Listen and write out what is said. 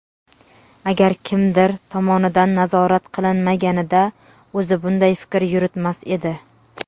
Agar kimdir tomonidan nazorat qilinmaganida o‘zi bunday fikr yuritmas edi.